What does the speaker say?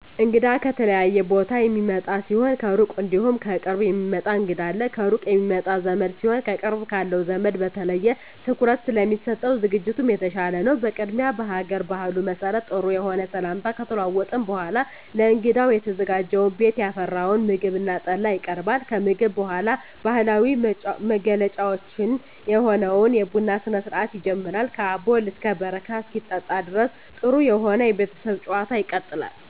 እንግዳ ከተለያየ ቦታ የሚመጣ ሲሆን ከሩቅ እንዲሁም ከቅርብ የሚመጣ እንግዳ አለ። ከሩቅ የሚመጣ ዘመድ ሲሆን ከቅርብ ካለው ዘመድ በተለየ ትኩረት ስለሚሰጠው ዝግጅቱም የተሻለ ነው። በቅድሚያ በሀገር ባህሉ መሰረት ጥሩ የሆነ ሰላምታ ከተለዋወጥን በኃላ ለእንግዳው የተዘጋጀውን ቤት ያፈራውን ምግብ እና ጠላ ይቀርባል። ከምግብ በኃላ ባህላዊ መገለጫችን የሆነውን የቡና ስነስርአት ይጀመራል ከአቦል እስከ በረካ እስኪጠጣ ድረስ ጥሩ የሆነ የቤተሰብ ጭዋታ ይቀጥላል።